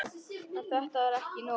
En þetta var ekki nóg.